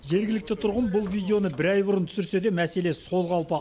жергілікті тұрғын бұл видеоны бір ай бұрын түсірсе де мәселе сол қалпы